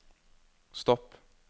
stopp